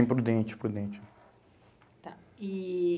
Em Prudente, Prudente. Tá. E